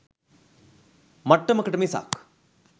මට්ටමකට මිසක්.